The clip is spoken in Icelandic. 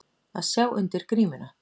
Að sjá undir grímuna